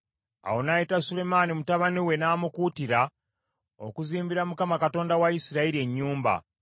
Awo n’ayita Sulemaani mutabani we n’amukuutira okuzimbira Mukama Katonda wa Isirayiri ennyumba.